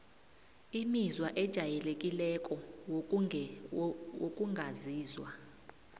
imizwa ejayelekileko wokungazizwa